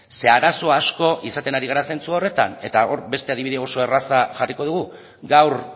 ze arazo asko izaten ari gara zentzu honetan eta hor beste adibide erraza jarriko dugu gaur